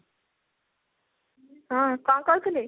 ହଁ କଣ କହୁଥିଲେ ?